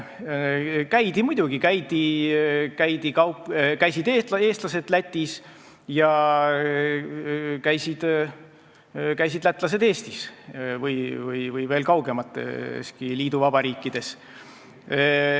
Käidi muidugi, käisid eestlased Lätis ja käisid lätlased Eestis ja käidi veel kaugemateski liiduvabariikides.